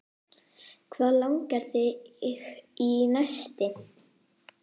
Hvað langar þig í næst?